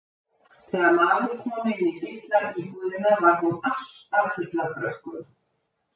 Og þegar maður kom inn í litla íbúðina var hún alltaf full af krökkum.